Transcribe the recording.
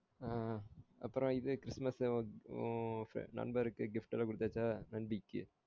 அஹ் அப்பறம் இது Christmas உன் நண்பர்க்கு gift வாங்கி குடுத்தாச்சா நண்பிக்கு